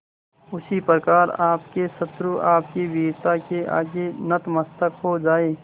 उसी प्रकार आपके शत्रु आपकी वीरता के आगे नतमस्तक हो जाएं